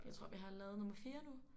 Jeg tror vi har lavet nummer 4 nu